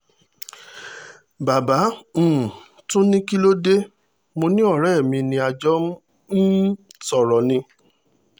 bàbá um tún ní kí ló dé mo ní ọ̀rẹ́ mi ni a jọ ń um sọ̀rọ̀ ni